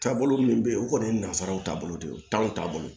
Taabolo min bɛ ye o kɔni ye nanzaraw taabolo de ye o t'anw ta bolo